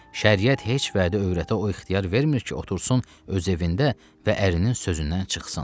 Şəriət heç vədə övrətə o ixtiyar vermir ki, otursun öz evində və ərinin sözündən çıxsın.